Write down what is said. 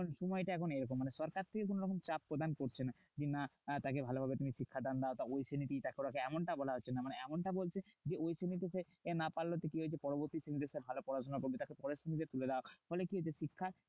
সময়টা এখন এরকম। মানে সরকার থেকে কোনোরকম চাপ প্রদান করছে না। কি না? তাকে ভালোভাবে তুমি শিক্ষাদান দাও। ওই শ্রেণীতেই রাখো তাকে এমনটা বলা হচ্ছে না। মানে এমনটা বলছে যে ওই শ্রেণীতে সে না পারলো তো কি হয়েছে? পরবর্তী সময়তে সে ভালো পড়াশোনা করবে তাকে দিয়ে তুলে দাও। ফলে কি হচ্ছে? শিক্ষার